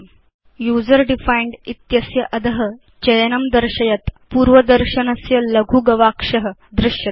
user defined इत्यस्य अध भवान् चयनं दर्शयत् पूर्वदर्शनस्य लघु गवाक्षं द्रष्टुं शक्नोति